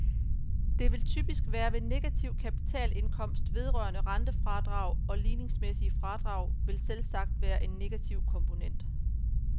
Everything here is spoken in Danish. Det vil typisk være ved negativ kapitalindkomst, vedrørende rentefradrag, og ligningsmæssige fradrag vil selvsagt være en negativ komponent.